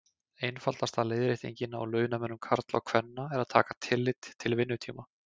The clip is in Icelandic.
Einfaldasta leiðréttingin á launamun karla og kvenna er að taka tillit til vinnutíma.